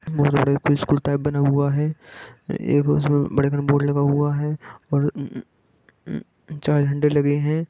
एक school type बना हुआ हैं एक उसमें वेलकम बोर्ड लगा हुआ हैं और लेगे है।